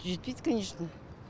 жетпейді конечно